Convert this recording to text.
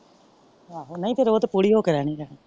ਆਹੋ ਨਹੀਂ ਤੇ ਉਹ ਤੇ ਪੂਰੀ ਹੋ ਕੇ ਰਹਿਣੀ ਰਹਿਣੀ।